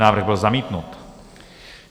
Návrh byl zamítnut.